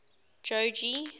jogee